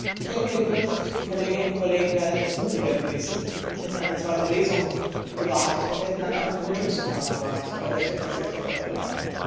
Ich hätte mir gewünscht, die Kolleginnen und Kollegen wären etwas mutiger gewesen und hätten eine zweite Lesung und dann auch ein Vermittlungsverfahren gewagt bei welcher Präsidentschaft auch immer.